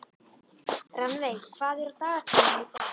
Rannveig, hvað er á dagatalinu í dag?